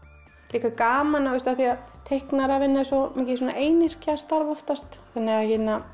líka gaman sko af því að teiknaravinna er svo mikið svona einyrkjastarf oftast þannig að